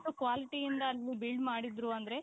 ಎಷ್ಟು qualityಯಿಂದ ಅದನ್ನು build ಮಾಡಿದ್ರು ಅಂದ್ರೆ